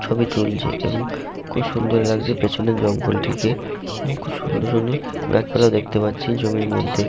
ছবি তুলছে এবং খুব সুন্দর লাগছে পিছনের জঙ্গল টিকে এবং খুব সুন্দর সুন্দর গাছপালা দেখতে পাচ্ছি জমির মধ্যে।